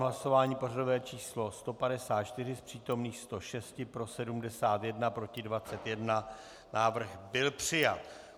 Hlasování pořadové číslo 154, z přítomných 106 pro 71, proti 21, návrh byl přijat.